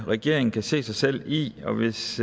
regeringen kan se sig selv i og hvis